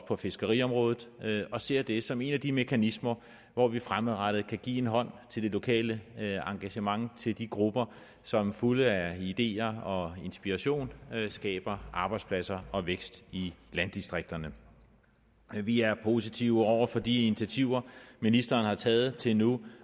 på fiskeriområdet og ser det som en af de mekanismer hvor vi fremadrettet kan give en hånd til det lokale engagement til de grupper som fulde af ideer og inspiration skaber arbejdspladser og vækst i landdistrikterne vi er positive over for de initiativer ministeren har taget til nu